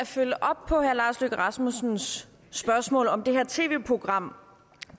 følge op på herre lars løkke rasmussens spørgsmål om det her tv program